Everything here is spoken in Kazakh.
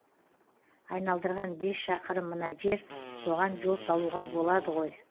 айналдырған бес шақырым мына жер соған жол салуға болады ғой